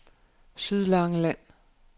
Sydlangeland